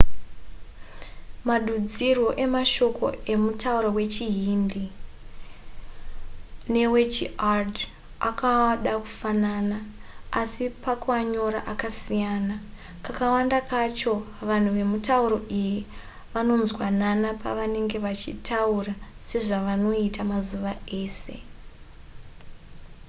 madudzirwo emashoko emutauro wechihindi newechiurdu akada kufanana asi pakuanyora akasiyana kakawanda kacho vanhu vemitauro iyi vanonzwanana pavanenge vachitaura sezvavanoita mazuva ese